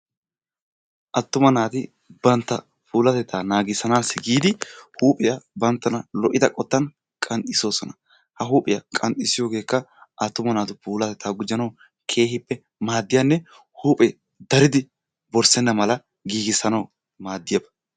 Attuma naati bantta puulatetta naagisanassi giidi huuphiyaa banttana lo'idda qottan qanxissosona. Ha huuphphiya qanxissiyoggekka attuma naatu puulatteta gujjanawu keehippe maadiyanne huuphphe daridi borssena mala giigissanaw maadiyaba.